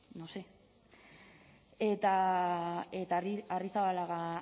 no sé eta arrizabalaga